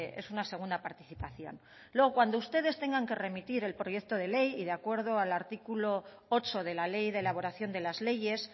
es una segunda participación luego cuando ustedes tengan que remitir el proyecto de ley y de acuerdo al artículo ocho de la ley de elaboración de las leyes